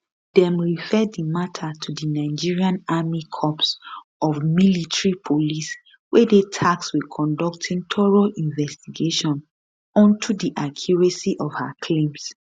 dem refer di mata to di nigerian army corps of military police wey dey tasked wit conducting thorough investigation onto di accuracy of her claims